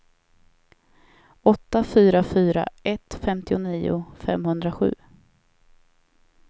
åtta fyra fyra ett femtionio femhundrasju